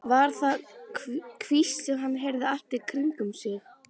Var þetta hvísl sem hann heyrði allt í kringum sig?